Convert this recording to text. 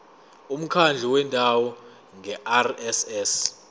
umkhandlu wendawo ngerss